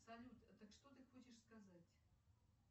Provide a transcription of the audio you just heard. салют так что ты хочешь сказать